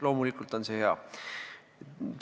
Loomulikult on see hea!